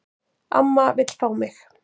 Amma vill fá mig.